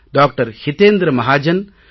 ஹிதேந்த்ர மஹாஜன் டா